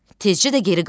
Tezcə də geri qayıtdı.